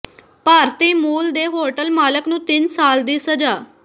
ਭਾਰਤੀ ਮੂਲ ਦੇ ਹੋਟਲ ਮਾਲਕ ਨੂੰ ਤਿੰਨ ਸਾਲ ਦੀ ਸਜ਼ਾ